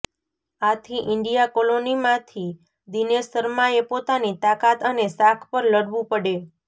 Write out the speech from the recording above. આથી ઈન્ડિયા કોલોનીમાંથી દિનેશ શર્માએ પોતાની તાકાત અને શાખ પર લડવું પડે